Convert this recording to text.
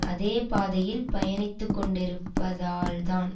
அதே பாதையில் பயணித்துக்கொண்டிருப்பதால் தான்